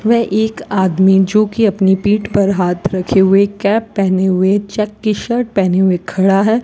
व एक आदमी जोकि अपनी पीठ पर हाथ रखे हुए कैप पहने हुए चेक की शर्ट पहने हुए खड़ा है।